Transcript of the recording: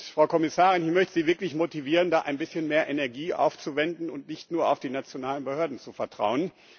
Frau Kommissarin, ich möchte Sie wirklich motivieren, da ein bisschen mehr Energie aufzuwenden und nicht nur auf die nationalen Behörden zu vertrauen.